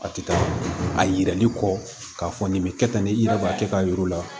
A ti taa a yirali kɔ k'a fɔ nin bɛ kɛ tan ne i yɛrɛ b'a kɛ k'a yir'u la